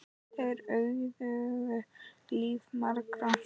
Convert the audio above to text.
Þeir auðguðu líf margra.